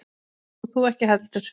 Og þú ekki heldur.